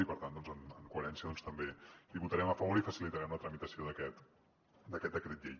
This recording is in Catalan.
i per tant en coherència també hi votarem a favor i facilitarem la tramitació d’aquest decret llei